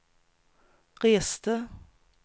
reste